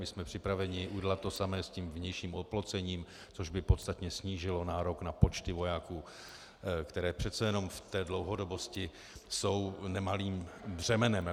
My jsme připraveni udělat to samé s tím vnějším oplocením, což by podstatně snížilo nárok na počty vojáků, které přece jenom v té dlouhodobosti jsou nemalým břemenem.